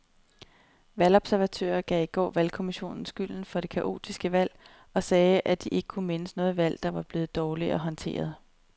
Valgobservatører gav i går valgkommissionen skylden for det kaotiske valg og sagde, at de ikke kunne mindes noget valg, der var blevet dårligere håndteret.